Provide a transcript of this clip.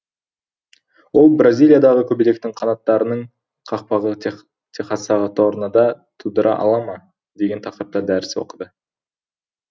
ол бразилиядағы көбелектің қанаттарының қақпағы техастағы торнада тудыра ала ма деген тақырыпта дәріс оқыды